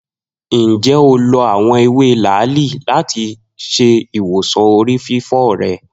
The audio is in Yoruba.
Njẹ o lo awọn ewe laali lati ṣe iwosan orififo rẹ?